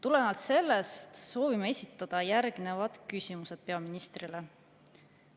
Tulenevalt sellest soovime esitada järgnevad küsimused peaministrile.